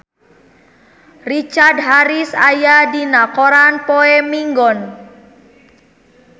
Richard Harris aya dina koran poe Minggon